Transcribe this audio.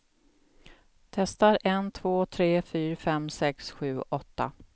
Testar en två tre fyra fem sex sju åtta.